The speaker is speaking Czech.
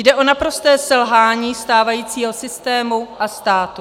Jde o naprosté selhání stávajícího systému a státu.